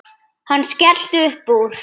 Hann skellti upp úr.